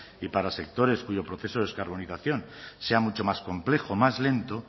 y para sectores cuyo proceso de descarbonización sea mucho más complejo más lento